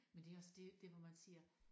Men det er også det der hvor man siger